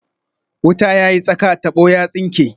Wuta ya yi tsaka, tabo ya tsinke